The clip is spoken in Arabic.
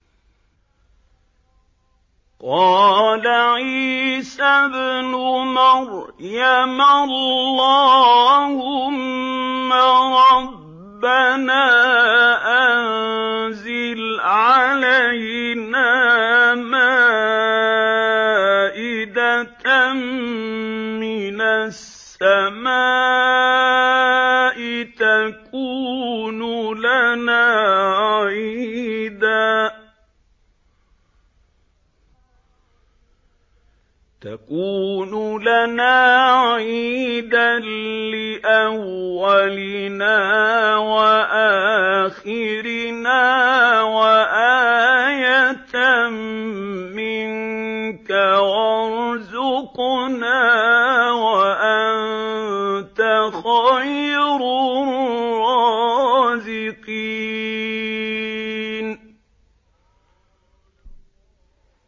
قَالَ عِيسَى ابْنُ مَرْيَمَ اللَّهُمَّ رَبَّنَا أَنزِلْ عَلَيْنَا مَائِدَةً مِّنَ السَّمَاءِ تَكُونُ لَنَا عِيدًا لِّأَوَّلِنَا وَآخِرِنَا وَآيَةً مِّنكَ ۖ وَارْزُقْنَا وَأَنتَ خَيْرُ الرَّازِقِينَ